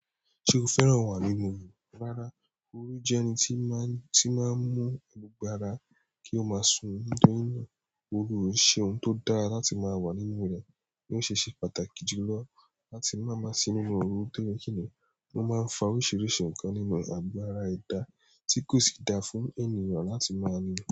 Ṣe o fẹ́ràn wà nínú ọ̀rọ̀? Rárá, oúnjẹ ẹni tí má, tí má ń mu gbogbo ara kí o má sùn nítorí. Ọ̀rọ̀ ṣe ohun tí ó dára láti má wà nínú rẹ ní o ṣe ṣe pàtàkì julọ láti má ma sínú ọ̀rọ̀ nítorí kíni wọ́n má ń fa oríṣiríṣi ǹkan nínú agbára ẹ̀dá tí kò sì dá fún ẹni ran láti má ní rẹ.